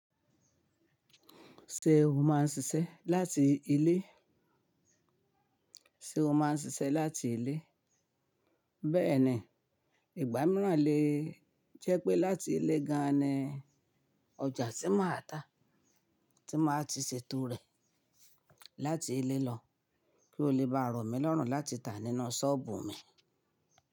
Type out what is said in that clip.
Ṣé o máa ń ṣiṣẹ́ láti ilé? Sé o máa ń ṣiṣẹ́ láti ilé? Bẹ́ẹ̀ni, ìgbà mìíràn lè jẹ́ pé láti ilé gan an ni ọjà tí máa ta, tí màá ti ṣètò rẹ̀ láti ilé lọ kí ó lè bá rọ̀ mí lọ̀rùn láti tà nínú ṣọ́ọ̀bù mi.